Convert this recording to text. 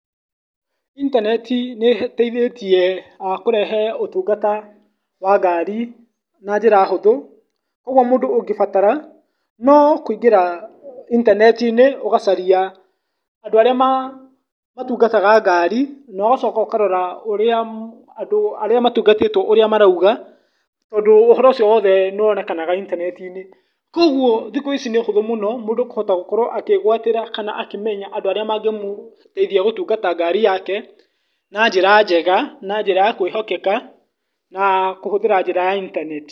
Intaneti nĩ ĩteithĩtie kũrehe ũtungata wa ngari na njĩra hũthũ, ũgwo mũndũ ũngĩbatara, no kũingĩra itaneti-inĩ ũgacaria andũ arĩa matungataga ngari , ũgacoka ũkarora ũrĩa andũ arĩa matungatitwo ũrĩa marauga tondũ ũhoro ũcio wothe nĩ wonekanaga intaneti-inĩ , kũgwo thikũ ici nĩ ũhũthũ mũno mũndũ gũkorwo akĩgwatĩra kana gũkorwo akĩmenya andũ arĩa mangĩmũteithia gũtungata ngari yake, na njĩra njega njĩra ya kwĩhokeka na kũhũthĩra njĩra ya intaneti.